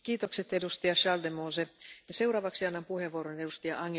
Frau Präsidentin, verehrte Frau Kommissarin, verehrte Kolleginnen und Kollegen!